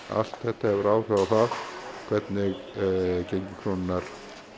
allt þetta hefur áhrif á það hvernig gengi krónunnar